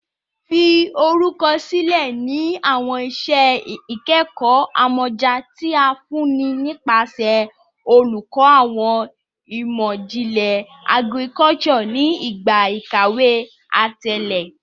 Fi orukọ silẹ ni awọn iṣẹ ikẹkọ amọja ti a funni nipasẹ Olukọ Awọn Imọ-jinlẹ Agriculture ni igba ikawe atẹle